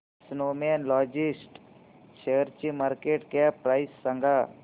Snowman logistics शेअरची market cap price सांगा